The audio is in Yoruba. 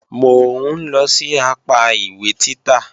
Mò ń lọ sí apá ìwé títà